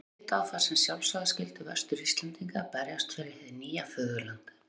Aðrir litu á það sem sjálfsagða skyldu Vestur-Íslendinga að berjast fyrir hið nýja föðurland.